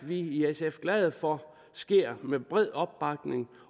i sf glade for sker med bred opbakning